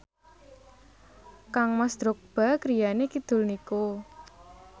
kangmas Drogba griyane kidul niku